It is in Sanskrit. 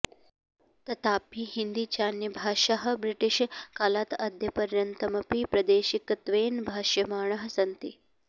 तथापि हिन्दी चान्यभाषाः ब्रिटिष् कालात् अद्यपर्यन्तमपि प्रादेशिकत्वेन भाष्यमाणाः सन्ति